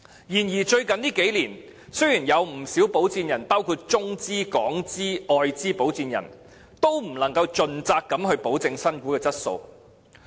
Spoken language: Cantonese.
然而，最近數年，不少保薦人包括中資、港資、外資的保薦人，都不能盡責地保證新股的質素。